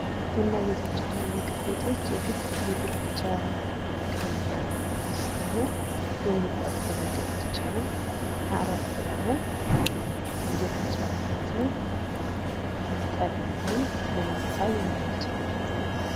ቡና ቤቶች እና ምግብ ቤቶች ምግብ ብቻ ተመግበን የምንወጣበትን ሳይሆን የሚጠጡ ነገሮችንም አረፍ ብለን እየተጫወትን ጠጥተን ልንወጣ የምንችልበት ቦታ ነው።